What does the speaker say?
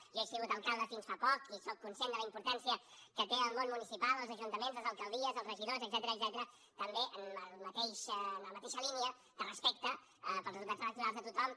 jo he sigut alcalde fins fa poc i sóc conscient de la importància que té el món municipal els ajuntaments les alcaldies els regidors etcètera també en la mateixa línia de respecte pels resultats electorals de tothom